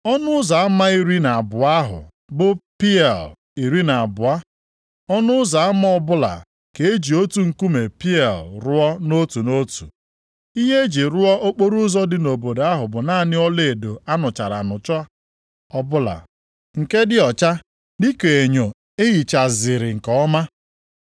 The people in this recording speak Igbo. Ọnụ ụzọ ama iri na abụọ ahụ bụ pieal iri na abụọ, ọnụ ụzọ ama ọbụla ka e ji otu nkume pieal rụọ nʼotu nʼotu. Ihe e ji rụọ okporoụzọ dị nʼobodo ahụ bụ naanị ọlaedo a nụchara anụcha ọbụla, nke dị ọcha dịka enyo e hichaziri nke ọma.